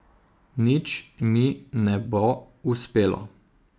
Nič mi ne bo uspelo.